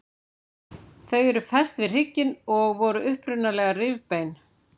Þau eru fest við hrygginn og voru upprunalega rifbein.